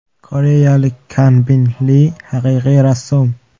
Koreyalik Kanbin Li haqiqiy rassom.